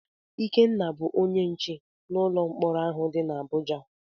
Ikenna bụ bụ onye nche n'ụlọ mkpọrọ ahụ dị n'Abụja.